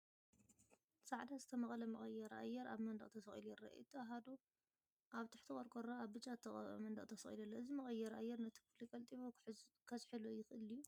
ጻዕዳ ዝተመቕለ መቀየሪ ኣየር ኣብ መንደቕ ተሰቒሉ ይርአ። እቲ ኣሃዱ ኣብ ትሕቲ ቆርቆሮ ኣብ ብጫ ዝተቐብአ መንደቕ ተሰቒሉ ኣሎ። እዚ መቀየሪ ኣየር ነቲ ክፍሊ ቀልጢፉ ከዝሕሎ ይኽእል ድዩ?